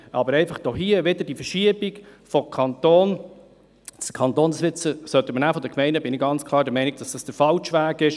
Aber hier drin, einfach wieder die Verschiebung vom Kanton zu den Gemeinden ... Ich bin ganz klar der Meinung, das dies der falsche Weg ist.